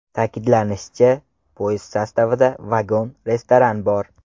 Ta’kidlanishicha, poyezd sostavida vagon-restoran bor.